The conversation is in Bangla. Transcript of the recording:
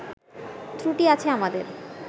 ত্রুটি আছে আমাদের